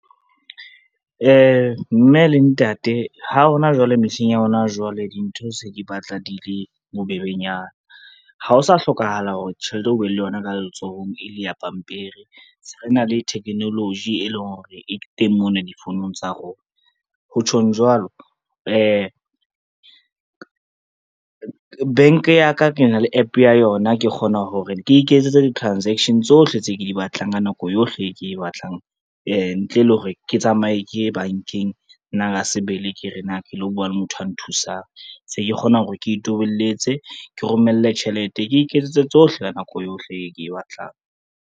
Mme le ntate ha hona jwale mehleng ya hona jwale dintho se di batla di le bobebenyana. Ha o sa hlokahala hore tjhelete o be le yona ka letsohong e le ya pampiri, se re na le technology e leng hore e teng mona difounung tsa rona. Ho tjhong jwalo bank ya ka ke na le App ya yona, ke kgona hore ke iketsetse di-transaction tsohle tse ke di batlang ka nako yohle e ke e batlang, ntle le hore ke tsamaye ke ye bankeng nna ka sebele ke re na ke lo bua le motho a nthusang. Se ke kgona hore ke tobelletse, ke romelle tjhelete, ke iketsetse tsohle ka nako yohle e ke e batlang.